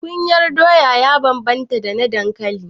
Kunyar doya ya bambanta da na dankali.